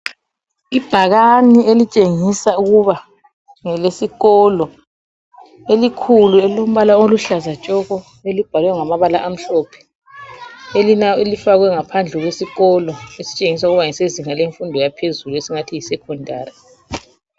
Ibhakani elitshengisa ukuba ngelesikolo, elikhulu elilombala oluhlaza tshoko elibhalwe ngamabala amhlophe, elifakwe ngaphandle kwesikolo esitshengisa ukuba ngesezinga lemfundo yaphezulu esingathi yiSecondary.